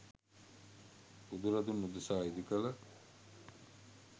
බුදුරදුන් උදෙසා ඉදිකළ